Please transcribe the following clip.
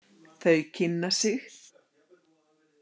Þau kynna sig.